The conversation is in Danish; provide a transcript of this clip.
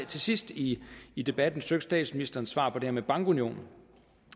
til sidst i i debatten søgt statsministerens svar på det her med bankunionen